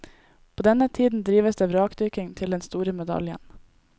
På denne tiden drives det vrakdykking til den store medaljen.